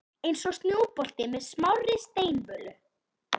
Eins og snjóbolti með smárri steinvölu.